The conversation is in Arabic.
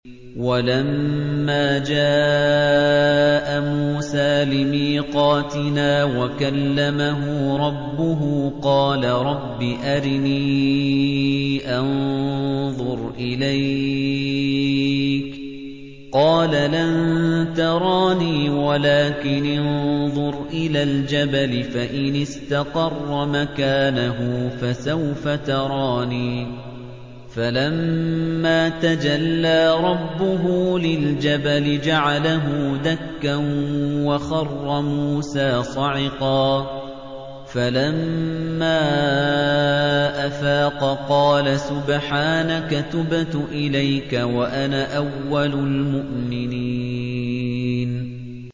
وَلَمَّا جَاءَ مُوسَىٰ لِمِيقَاتِنَا وَكَلَّمَهُ رَبُّهُ قَالَ رَبِّ أَرِنِي أَنظُرْ إِلَيْكَ ۚ قَالَ لَن تَرَانِي وَلَٰكِنِ انظُرْ إِلَى الْجَبَلِ فَإِنِ اسْتَقَرَّ مَكَانَهُ فَسَوْفَ تَرَانِي ۚ فَلَمَّا تَجَلَّىٰ رَبُّهُ لِلْجَبَلِ جَعَلَهُ دَكًّا وَخَرَّ مُوسَىٰ صَعِقًا ۚ فَلَمَّا أَفَاقَ قَالَ سُبْحَانَكَ تُبْتُ إِلَيْكَ وَأَنَا أَوَّلُ الْمُؤْمِنِينَ